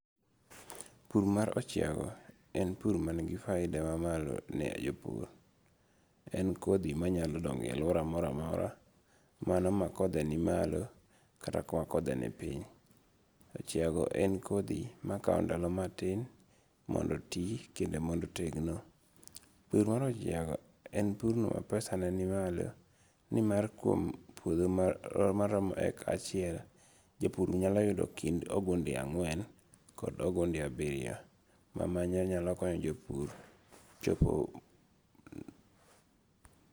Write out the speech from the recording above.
Pur mar ochiago en pur manigi faida mamalo ne jopur, en kothi manyalo donge e aluora mora mora, mano ma kothe ni malo kata ma kothe ni piny, ochiago en kothi makawo ndalo matin mondo oti kendo mondo otegno, pur mar ochiago en purno mapesane nimalo ni mar kuom puotho ma oromo eka achiel japur nyalo yudo kind ogunde angwen kod ogunde abiriyo mamano nyalo konyo jopur